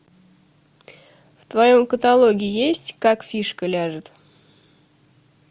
в твоем каталоге есть как фишка ляжет